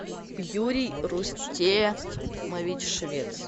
юрий рустемович швец